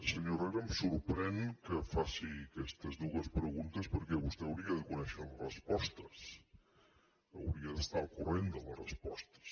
senyor herrera em sorprèn que faci aquestes dues preguntes perquè vostè hauria de conèixer les respostes hauria d’estar al corrent de les respostes